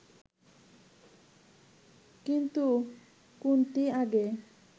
কিন্তু কোনটি আগে